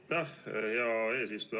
Aitäh, hea eesistuja!